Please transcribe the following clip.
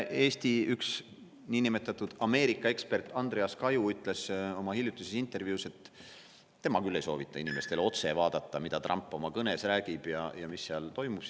Eesti üks niinimetatud Ameerika‑ekspert, Andreas Kaju, ütles oma hiljutises intervjuus, et tema küll ei soovita inimestel otse vaadata, mida Trump oma kõnes räägib ja mis seal toimub.